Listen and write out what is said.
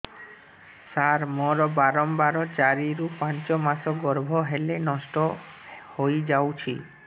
ସାର ମୋର ବାରମ୍ବାର ଚାରି ରୁ ପାଞ୍ଚ ମାସ ଗର୍ଭ ହେଲେ ନଷ୍ଟ ହଇଯାଉଛି